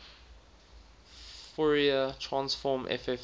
fourier transform fft